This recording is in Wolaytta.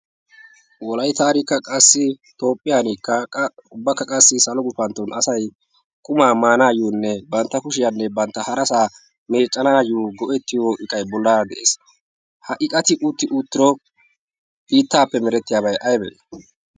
wolayttankka qassi toophphiyankka qassi ubbakka qassi salo gufantton asay kumaa maanaayyoonne bantta kushiyaanne bantta harasaa meeccanaayyo go'ettiyo iqai bollaara de'ees ha iqati utti uttiro biittaappe merettiyaabay aybe